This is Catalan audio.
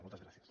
moltes gràcies